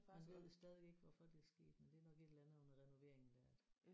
Man ved det stadigvæk ikke hvorfor det er sket men det er nok et eller andet under renoveringen der at